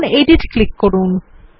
এখন edit click করুন